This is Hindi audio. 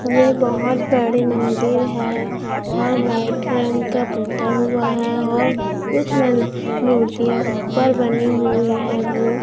ये बहोत बड़ी मंदिर है और व्हाइट रंग का पोता हुआ है और कुछ मन मूर्तियां ऊपर बनी हुई है वो--